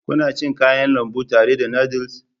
Kuna cin Kayan lambu tare da noodles?